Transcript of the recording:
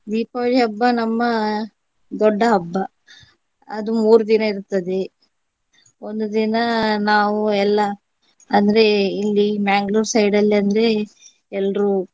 ದೀಪಾವಳಿ ಹಬ್ಬ ನಮ್ಮ ದೊಡ್ಡ ಹಬ್ಬ. ಅದು ಮೂರು ದಿನ ಇರ್ತದೆ ಒಂದು ದಿನ ನಾವು ಎಲ್ಲ ಅಂದ್ರೆ ಇಲ್ಲಿ ಮ್ಯಾಂಗ್ಳೂರ್ side ಅಲ್ಲಿ ಅಂದ್ರೆ ಎಲ್ರೂ